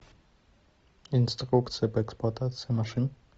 инструкция по эксплуатации машин